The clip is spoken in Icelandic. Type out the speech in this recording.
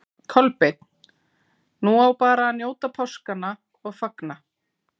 Kolbeinn: Nú á bara að njóta páskanna og fagna?